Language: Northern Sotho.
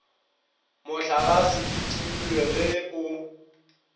mohlagase di timilwe ge o